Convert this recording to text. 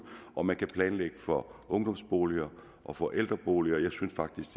og man kan planlægge for ungdomsboliger og for ældreboliger og jeg synes faktisk